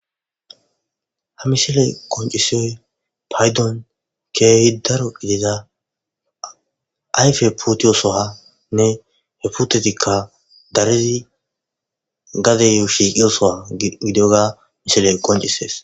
ha misile koncisoy paydon keehi daro ideza ayfe putiyosohanne he putetikka darezi gadeyo shiiqiyosoha gidoga misile koncisees